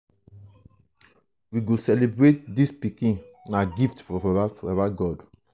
we go celebrate dis pikin na gift from baba god.